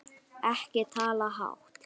Ekki tala hátt!